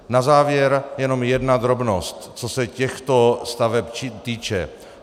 Na závěr jenom jedna drobnost, co se těchto staveb týče.